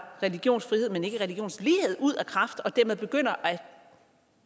religionsfrihed men ikke religionslighed ud af kraft og dermed begynder at